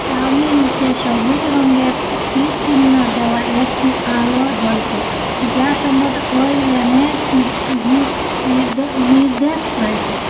চাউনির নীচে সবুজ রঙ্গের তীর চিহ্ন দেওয়া একটি আলো জ্বলছে যা সম্ভত ওই লেনের দিক-দিক নির্দ-নির্দেশ রয়েসে।